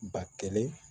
Ba kelen